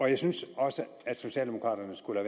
jeg synes også at socialdemokraterne skulle